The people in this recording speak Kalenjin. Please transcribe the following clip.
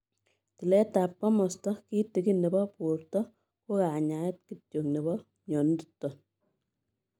Tileet ap komastaa kitigin nepo portoo ko kanyaet kityoo nepoo mionitok nepo